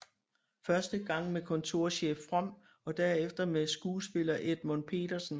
Første gang med kontorchef From og derefter med skuespiller Edmund Petersen